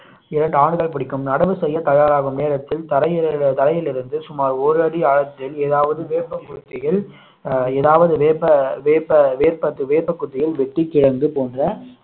இரண்டு ஆண்டுகள் பிடிக்கும் நடவு செய்ய தயாராகும் நேரத்தில் தரையில் தரையில் இருந்து சுமார் ஒரு அடி ஆழத்தில் ஏதாவது வேப்பங்குச்சியில் ஏதாவது வேப்ப வேப்ப வேப்ப வேப்பங்குச்சியில் வெட்டிக் கிழங்கு போன்ற